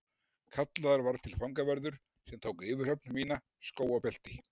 Kallaður var til fangavörður sem tók yfirhöfn mína, skó og belti.